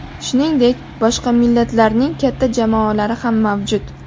Shuningdek, boshqa millatlarning katta jamoalari ham mavjud.